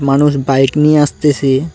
মানুষ বাইক নিয়ে আসতেছে।